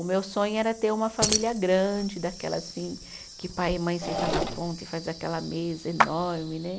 O meu sonho era ter uma família grande, daquela assim, que pai e mãe senta na ponta e faz aquela mesa enorme né.